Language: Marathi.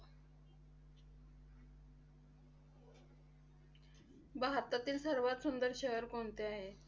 भारतातील सर्वात सुंदर शहर कोणते आहे?